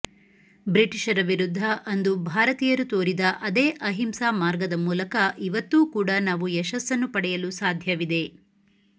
ಬ್ರಿಟಿಷರ ವಿರುದ್ದ ಅಂದು ಭಾರತೀಯರು ತೋರಿದ ಅದೇ ಅಹಿಂಸಾ ಮಾರ್ಗದ ಮೂಲಕ ಇವತ್ತೂ ಕೂಡಾ ನಾವು ಯಶಸ್ಸನ್ನು ಪಡೆಯಲು ಸಾಧ್ಯವಿದೆ